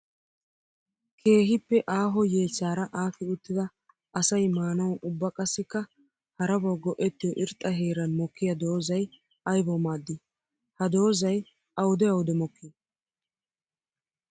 Keehippe aaho yeechchara aakki uttidda asay maanawu ubba qassikka harabawu go'ettiyo irxxa heeran mokkiya doozay aybbawu maadi? Ha doozay awudde awudde mokki?